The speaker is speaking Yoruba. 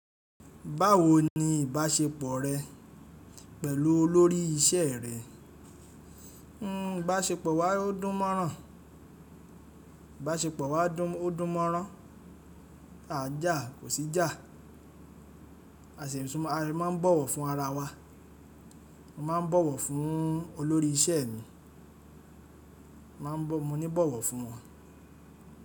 Báwo ni ìbáṣepọ̀ rẹ pẹ̀lú olórí iṣẹ́ rẹ? Ìbáṣepọ̀ wa ó dùn mọ́rán, ìbáṣepọ̀ wa ó dùn mọ́rán, àa jà kò sí jà, a sì máa ń bọ̀wọ̀ fún ara wa. Mo ma ń bọ̀wọ̀ fún olórí iṣẹ́ mi, mo ní bọ̀wọ̀ fún wọn.